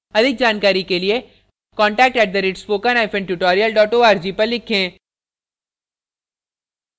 अधिक जानकारी के लिए contact @spokentutorial org पर लिखें